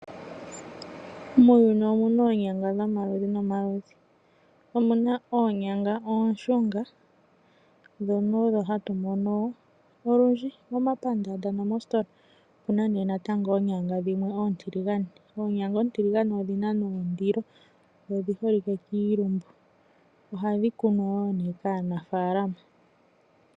Muuyuni omu na oonyanga dhomaludhi no maludhi. Omu na oonyanga oonshunga, ndhono odho hatu mono olundji momapandaanda no moosutola. Omu na ne natango oonyanga dhimwe oontilugane. Oonyanga oontiligane odhi na ne ondilo dho odhi holike kiilumbu. Oha dhi kunwa wo ne kaanafaalama